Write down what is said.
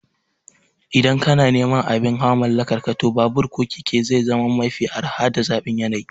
Idan kana neman abin hawa mallakarka, to babur ko keke zai zama mafi araha da zaɓin yanayi